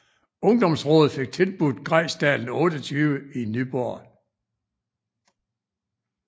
Ungdomsrådet fik tilbudt Grejsdalen 28 i Nyborg